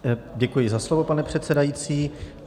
Děkuji za slovo, pane předsedající.